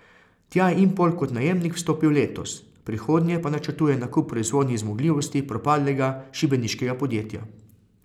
Tja je Impol kot najemnik vstopil letos, v prihodnje pa načrtujejo nakup proizvodnih zmogljivosti propadlega šibeniškega podjetja.